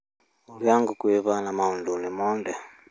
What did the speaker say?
Urĩa ngũkũ ihana maundũ-ini mothe.